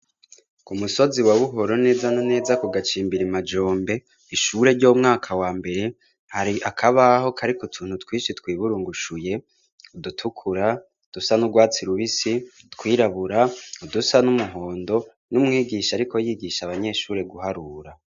Ku musozi wa Buhoro neza na neza ku gacimbira Majombe, ishure ry'umwaka wa mbere, hari akabaho kariko utuntu twinshi twiburungushuye, udutukura, udusa n'urwatsi rubisi, twirabura, udusa n'umuhondo, n'umwigisha ariko yigisha abanyeshure guharura.